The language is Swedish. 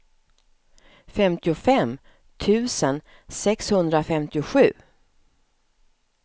femtiofem tusen sexhundrafemtiosju